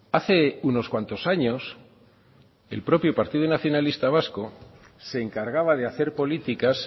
hace unos cuantos años el propio partido nacionalista vasco se encargaba de hacer políticas